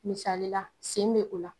Misalila sen be o la